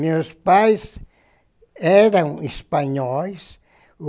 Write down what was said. Meus pais eram espanhóis.